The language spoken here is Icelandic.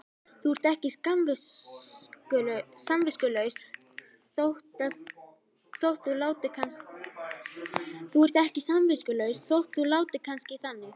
Þú ert ekki samviskulaus þótt þú látir kannski þannig.